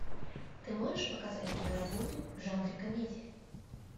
ты можешь показать киноработу в жанре комедия